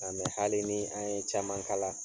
Mɛ hali ni an ye caman kala